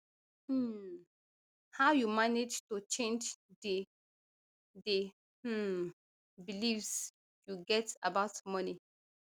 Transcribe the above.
um how you manage to change di di um beliefs you get about money